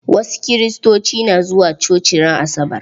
Wasu Kiristocin na zuwa coci ran asabar.